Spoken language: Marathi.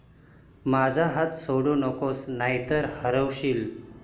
माझा हात सोडू नकोस, नाहीतर हरवशील.